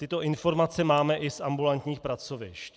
Tyto informace máme i z ambulantních pracovišť.